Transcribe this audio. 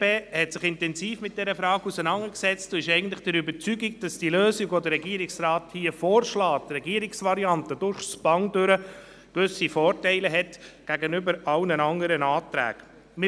Die BDP hat sich intensiv mit dieser Frage auseinandergesetzt und ist eigentlich der Überzeugung, dass die Lösung, die der Regierungsrat vorschlägt, durchgängig gewisse Vorteile gegenüber allen anderen Anträgen hat.